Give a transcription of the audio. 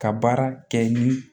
Ka baara kɛ ni